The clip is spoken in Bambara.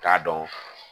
K'a dɔn